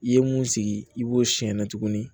I ye mun sigi i b'o siyɛn na tuguni